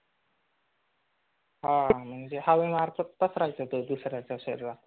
हा म्हणजे हवेमार्फत पसरायचा तो दुसर्यांच्या शरीरात.